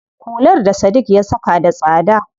Hular da Sadiq ya saka da tsada.